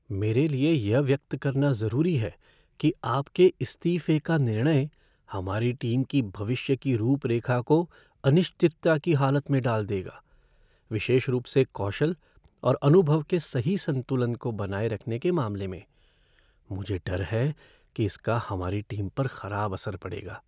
मेरे लिए यह व्यक्त करना जरूरी है कि आपके इस्तीफे का निर्णय हमारी टीम की भविष्य की रूप रेखा को अनिश्चितता की हालत में डाल देगा, विशेष रूप से कौशल और अनुभव के सही संतुलन को बनाए रखने के मामले में। मुझे डर है कि इसका हमारी टीम पर खराब असर पड़ेगा।